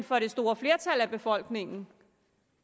for det store flertal af befolkningen